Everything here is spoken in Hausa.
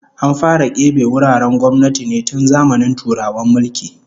An fara kebe wuraren gwamnati ne tun zamanin Turawan mulki